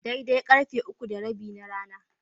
Daidai karfe uku da rabi na rana.